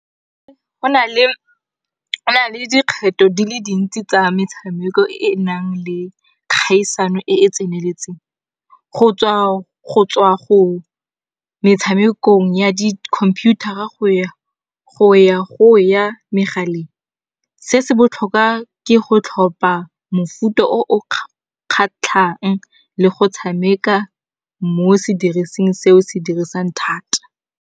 Go na le go nale dikgetho di le dintsi tsa metshameko e e nang le kgaisano e e tseneletseng. Go tswa go metshamekong ya di computer-a go ya go ya megaleng. Se se botlhokwa ke go tlhopha mofuta o o kgatlhang le go tshameka mo sedirising se o se dirisang thata.